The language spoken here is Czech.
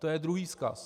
To je druhý vzkaz.